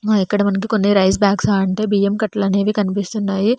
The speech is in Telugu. మా ఇక్కడ మనకి కొన్ని రైస్ బ్యాగ్స్ బియ్యం కట్లు అనేవి కనిపిస్తున్నాయి.